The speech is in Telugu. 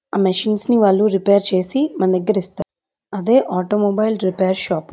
మచిన్స్ ని వాళ్ళు రిపేర్ చేసి మన దగ్గర ఇస్తారు అదే ఆటో మొబైల్ రిపేర్ షాప్ .